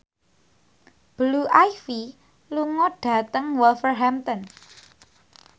Blue Ivy lunga dhateng Wolverhampton